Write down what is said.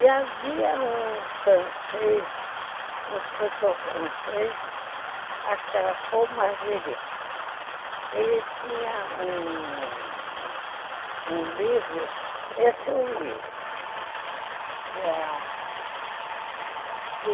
E havia um francês, um escritor francês, acho que era Paul Marguerite, ele tinha um livro, esse eu li, que era...